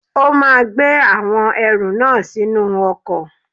O máa gbé àwọn ẹrù náà sínú ọkọ̀.